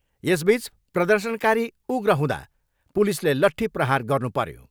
यसबिच प्रदर्शनकारी उग्र हुँदा पुलिसले लट्ठी प्रहार गर्नु पर्यो।